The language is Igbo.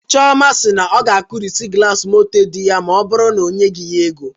Chioma si na ọ ga-akụrịsị glasi moto di ya ma ọ bụrụ na o nyeghị ya ego